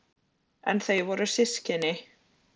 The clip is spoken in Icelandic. En þau voru systkini.